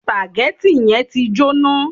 Sùpàgẹ́tì yẹn ti jóná.